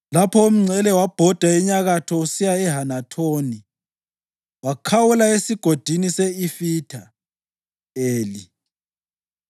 Lapho umngcele wabhoda enyakatho usiya eHanathoni wakhawula eSigodini se-Ifitha Eli.